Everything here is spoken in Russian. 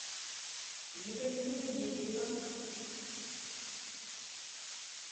екатерина егерева